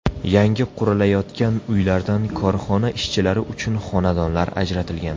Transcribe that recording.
Yangi qurilayotgan uylardan korxona ishchilari uchun xonadonlar ajratilgan.